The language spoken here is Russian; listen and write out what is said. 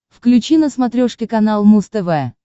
включи на смотрешке канал муз тв